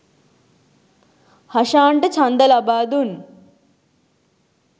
හෂාන්ට ඡන්ද ලබා දුන්